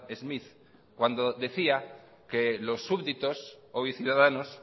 smith cuando decía que los súbditos oy ciudadanos